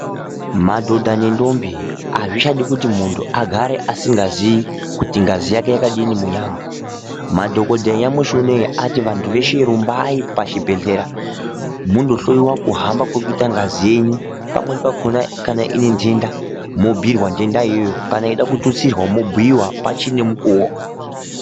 Madhodha nentombi azvichadi kuti muntu agare asingaziyi kuti ngazi yake yakadini munyama. Madhokodheya nyamushi unowu ati rumbai pachibhehleya mundohloyiwa kuhamba kunoita ngazi yenyu. Pamweni pakona kana ine ntenda mobhuyurwa ntenda iyoyo kana mweida kutitsirwa mobhuyiwa pachinemukuwo.